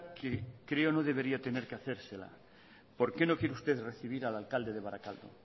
que creo no debería tener que hacérsela por qué no quiere usted recibir al alcalde de barakaldo